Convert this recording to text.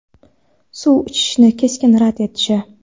suv ichishni keskin rad etishi.